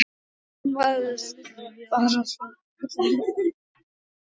Ég skammaðist mín bara svo ferlega.